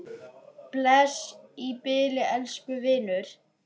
Bless í bili, elsku vinur.